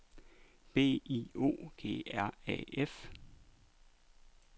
B I O G R A F